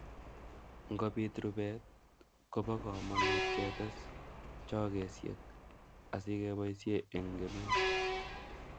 Ngobit rubet kobo komonut ketes chogesiek asikeboisie eng kemeut